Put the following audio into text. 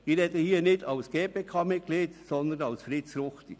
Ich spreche hier nicht als GPK-Mitglied, sondern als Fritz Ruchti.